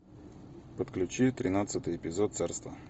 подключи тринадцатый эпизод царство